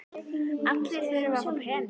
Allir þurfa að fá peninga.